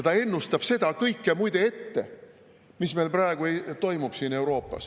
Ta ennustab muide ette seda kõike, mis meil praegu Euroopas toimub.